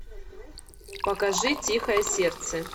покажи тихое сердце